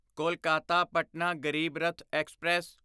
Kolkata Patna Garib Rath express